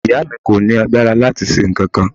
Ìyá mi kò ní agbára láti ṣe nǹkankan.